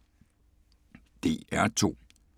DR2